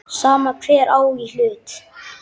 Sama hver á í hlut.